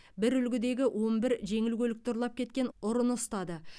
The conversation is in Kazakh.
бір үлгідегі он бір жеңіл көлікті ұрлап кеткен ұрыны ұстады